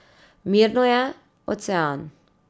Mirno je, ocean.